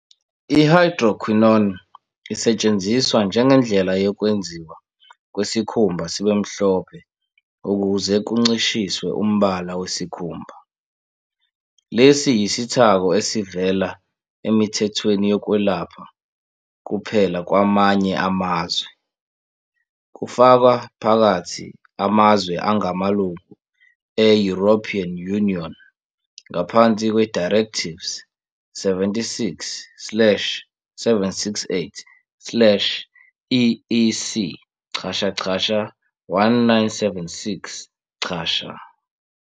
I-Hydroquinone isetshenziswa njengendlela yokwenziwa kwesikhumba sibe mhlophe ukuze kuncishiswe umbala wesikhumba. Lesi yisithako esivela emithethweni yokwelapha kuphela kwamanye amazwe, kufaka phakathi amazwe angamalungu e-European Union ngaphansi kwe-Directives 76 slash 768 slash EEC dot dot 1976.